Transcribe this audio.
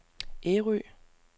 Ærø